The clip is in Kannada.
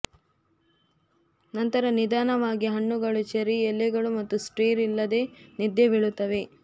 ನಂತರ ನಿಧಾನವಾಗಿ ಹಣ್ಣುಗಳು ಚೆರ್ರಿ ಎಲೆಗಳು ಮತ್ತು ಸ್ಟಿರ್ ಇಲ್ಲದೆ ನಿದ್ದೆ ಬೀಳುತ್ತವೆ